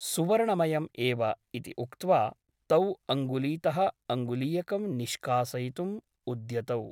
सुवर्णमयम् एव इति उक्त्वा तौ अङ्गुलीतः अङ्गुलीयकं निष्कासयितुम् उद्यतौ ।